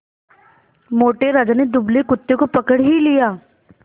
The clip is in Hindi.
मोटे राजा ने दुबले कुत्ते को पकड़ ही लिया